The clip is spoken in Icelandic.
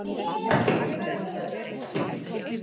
Ég verð að komast aðeins út.